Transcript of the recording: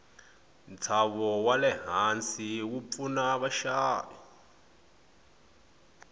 nshavo walehhansi wupfuna vashavi